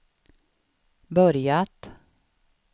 börjat